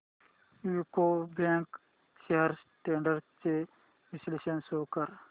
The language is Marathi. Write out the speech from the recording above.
यूको बँक शेअर्स ट्रेंड्स चे विश्लेषण शो कर